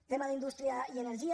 tema d’indústria i energia